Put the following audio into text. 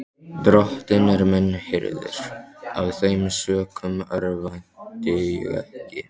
Drottinn er minn hirðir, af þeim sökum örvænti ég ekki.